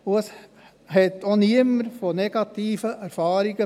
Es berichtete denn auch niemand von negativen Erfahrungen.